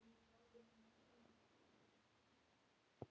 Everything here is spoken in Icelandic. Mörg atvik bera þess vitni.